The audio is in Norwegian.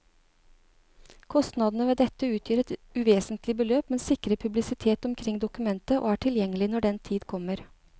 Kostnadene ved dette utgjør et uvesentlig beløp, men sikrer publisitet omkring dokumentet og er tilgjengelig når den tid kommer.